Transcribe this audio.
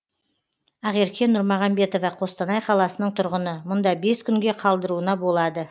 ақерке нұрмағамбетова қостанай қаласының тұрғыны мұнда бес күнге қалдыруына болады